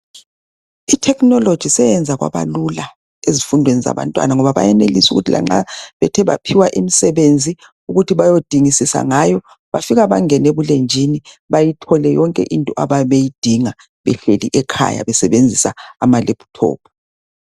Ithekhinoloji seyenza kwaba lula ezifundweni zabantwana ngoba bayenelisa ukuthi lanxa bethe baphiwa imisebenzi ukuthi bayodingisisa ngayo bafika bangene ebulenjini bayithole yonke into abayabe beyidinga behleli ekhaya besebenzisa amalephuthophu.